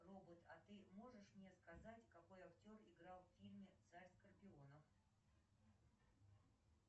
робот а ты можешь мне сказать какой актер играл в фильме царь скорпионов